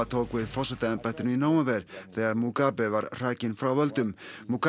tók við forsetaembættinu í nóvember þegar Mugabe var hrakinn frá völdum